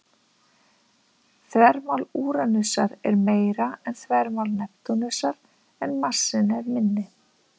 Þvermál Úranusar er meira en þvermál Neptúnusar, en massinn er minni.